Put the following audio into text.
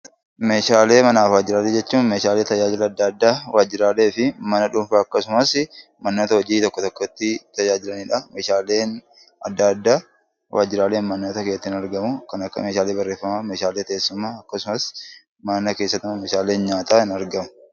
Meeshaalee manaafi waajiraalee jechuun meeshaalee tajaajila adda addaa waajiraalee fi mana dhuunfaa akkasumasii manoota hojii tokko tokkotti tajaajilanidha. Meeshaalee adda addaa waajiraalee manoota keessatti ni argamuu kan akka meeshaalee barreeffamaa meehaalee teessumaa akkasumas mana keessatti meehaalee nyaataa ni argamu.